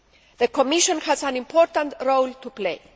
The Commission has an important role to play.